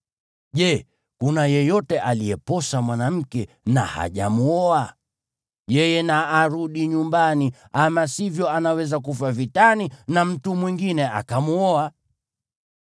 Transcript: Je, kuna yeyote aliyeposa mwanamke na hajamwoa? Yeye na arudi nyumbani, ama sivyo anaweza kufa vitani na mtu mwingine akamwoa.”